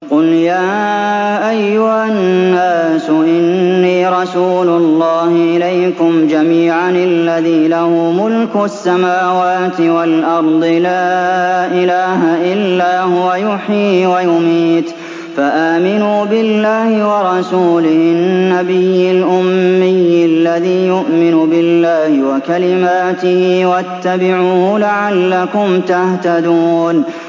قُلْ يَا أَيُّهَا النَّاسُ إِنِّي رَسُولُ اللَّهِ إِلَيْكُمْ جَمِيعًا الَّذِي لَهُ مُلْكُ السَّمَاوَاتِ وَالْأَرْضِ ۖ لَا إِلَٰهَ إِلَّا هُوَ يُحْيِي وَيُمِيتُ ۖ فَآمِنُوا بِاللَّهِ وَرَسُولِهِ النَّبِيِّ الْأُمِّيِّ الَّذِي يُؤْمِنُ بِاللَّهِ وَكَلِمَاتِهِ وَاتَّبِعُوهُ لَعَلَّكُمْ تَهْتَدُونَ